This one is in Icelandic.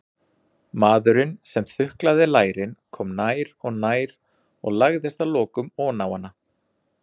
Maðurinn sem þuklaði lærin kom nær og nær og lagðist að lokum oná hana.